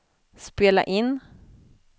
spela in